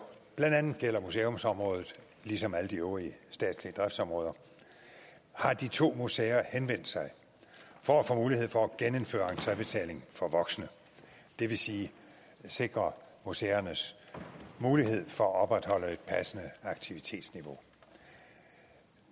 blandt andet gælder museumsområdet ligesom alle de øvrige statslige driftsområder har de to museer henvendt sig for at få mulighed for at genindføre entrebetaling for voksne det vil sige sikre museernes mulighed for at opretholde et passende aktivitetsniveau